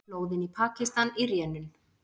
Flóðin í Pakistan í rénun